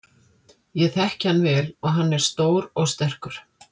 Ég þekki hann vel og hann er stór og sterkur.